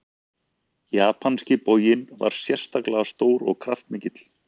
Japanski boginn var sérstaklega stór og kraftmikill.